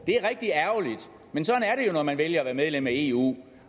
når man vælger at være medlem af eu